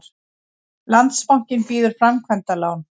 Landsbankinn býður framkvæmdalán